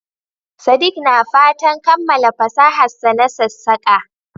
Sadik na fatan kammala fasaharsa na sassaƙa.